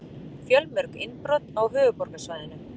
Fjölmörg innbrot á höfuðborgarsvæðinu